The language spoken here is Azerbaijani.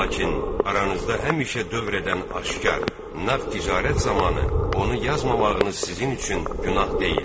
Lakin aranızda həmişə dövr edən aşkar, nağd ticarət zamanı onu yazmamağınız sizin üçün günah deyildir.